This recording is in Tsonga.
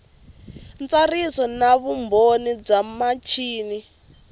ntsariso na vumbhoni bya michini